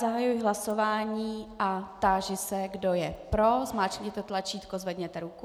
Zahajuji hlasování a táži se, kdo je pro, zmáčkněte tlačítko, zvedněte ruku.